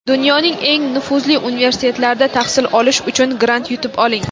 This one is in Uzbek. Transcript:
Dunyoning eng nufuzli universitetlarida tahsil olish uchun grant yutib oling!.